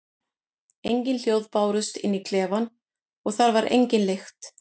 Engin hljóð bárust inn í klefann og þar var engin lykt.